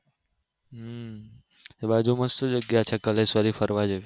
એ બાજુ મસ્ત જગ્યા છે કોલેશ્વરી ફરવા જવું